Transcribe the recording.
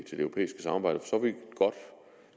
europæiske samarbejde